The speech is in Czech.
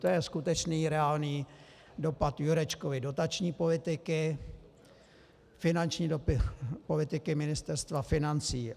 To je skutečný reálný dopad Jurečkovy dotační politiky, finanční politiky Ministerstva financí.